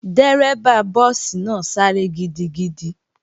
Dérẹ́bà búùsì náà sáré gidigidi